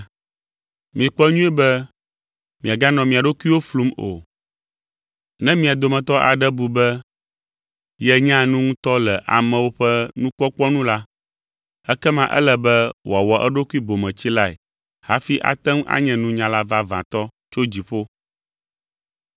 Mikpɔ nyuie be miaganɔ mia ɖokuiwo flum o. Ne mia dometɔ aɖe bu be yenyaa nu ŋutɔ le amewo ƒe nukpɔkpɔ nu la, ekema ele be wòawɔ eɖokui bometsilae hafi ate ŋu anye nunyala vavãtɔ tso dziƒo.